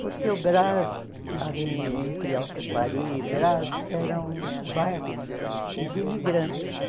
Porque o Brás, ali entre Alto de Pari e Brás, eram bairros de imigrantes.